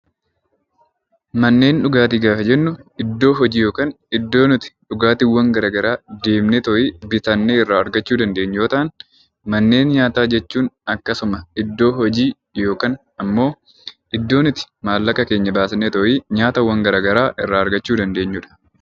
Manneen dhugaatii gaafa jennu iddoo hojii yookiin iddoo nuti bakka garaagaraa deemnee bitannee argachuu dandeenyu yoo ta'u, manneen nyaataa jechuun akkasuma iddoo hojii yookaan ammoo iddoo nuti maallaqa keenya baasnee nyaatawwan garaagaraa argachuu dandeenyudha.